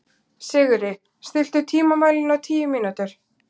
Sigri, stilltu tímamælinn á tíu mínútur.